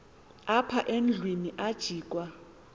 apha endlwini ajikwa